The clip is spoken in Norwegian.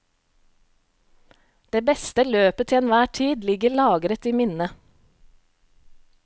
Det beste løpet til enhver tid ligger lagret i minnet.